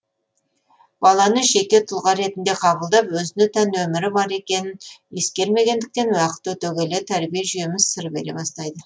баланы жеке тұлға ретінде қабылдап өзіне тән өмірі бар екенін ескермегендіктен уақыт өте келе тәрбие жүйеміз сыр бере бастайды